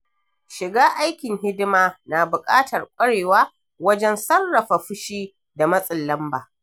Shiga aikin hidima na buƙatar ƙwarewa wajen sarrafa fushi da matsin lamba.